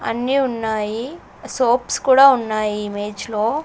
అన్నీ ఉన్నాయి సోప్స్ కూడా ఉన్నాయి ఇమేజ్ లో.